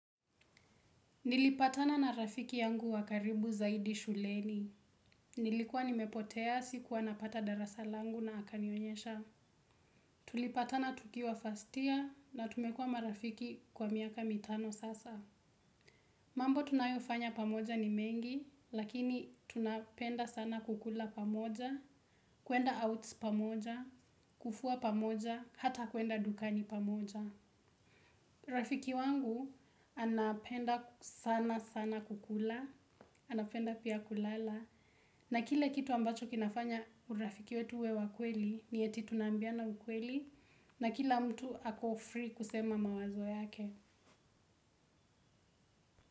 Nilipatana na rafiki yangu wakaribu zaidi shuleni. Nilikuwa nimepotea sikuwa napata darasa langu na akanionyesha. Tulipatana tukiwa fast year na tumekuwa marafiki kwa miaka mitano sasa. Mambo tunayofanya pamoja ni mengi, lakini tunapenda sana kukula pamoja, kuenda outs pamoja, kufua pamoja, hata kuenda dukani pamoja. Rafiki wangu anapenda sana sana kukula, anapenda pia kulala. Na kile kitu ambacho kinafanya urafiki wetu uwe wa kweli ni eti tunaambiana ukweli. Na kila mtu ako free kusema mawazo yake.